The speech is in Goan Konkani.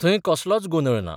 थंय कसलोच गोंदळ ना.